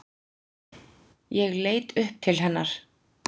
Ég leit upp til hennar.